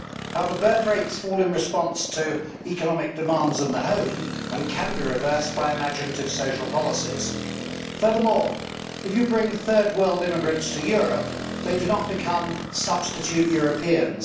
However, birth rates fall in response to economic demands in the home and can be reversed by imaginative social policies. Furthermore, if you bring Third World immigrants to Europe, they do not become substitute Europeans.